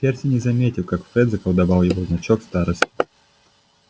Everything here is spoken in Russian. перси не заметил как фред заколдовал его значок старосты